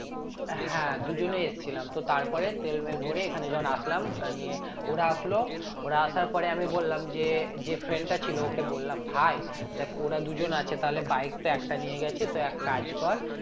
হ্যাঁ দুজনে এসেছিলাম তো তারপরে তেলমেল ভরে এখানে যখন আসলাম আহ নিয়ে ওরা আসলো ওরা আসার পরে আমি বললাম যে যে friend টা ছিল ওকে বললাম ভাই দেখ ওরা দুজন আছে তাহলে bike তো একটা নিয়ে গেছি তো এক কাজ কর